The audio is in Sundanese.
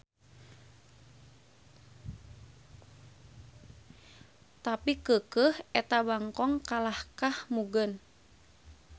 Tapi keukeuh eta bangkong kalahkah mugen.